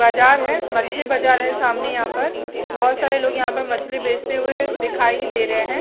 बाजार है मछली बाजार है सामने यहाँ पर बहुत सारे लोग यहाँ पे मछली बेचते हुए दिखाई दे रहे है।